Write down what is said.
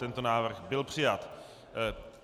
Tento návrh byl přijat.